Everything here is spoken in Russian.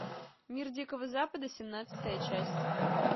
мир дикого запада семнадцатая часть